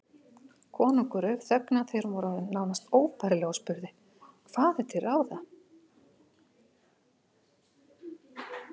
Konungur rauf þögnina þegar hún var orðin nánast óbærileg og spurði:-Hvað er til ráða?